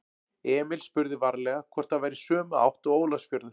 Emil spurði varlega hvort það væri í sömu átt og Ólafsfjörður.